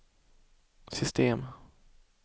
system